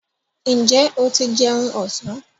Ǹjẹ́ o ti jẹun ọ̀sán?